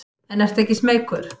En ertu ekki smeykur?